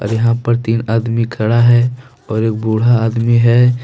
यहां पर तीन आदमी खड़ा है। और एक बुढ़ा आदमी है।